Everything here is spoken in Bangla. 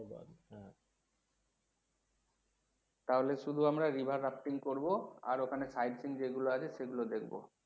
তাহলে সুধু আমরা river করবো আর ওখানে sightseeing করবো যেগুলো আছে সেগুলো দেখবো।